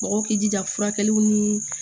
Mɔgɔw k'i jija furakɛliw ni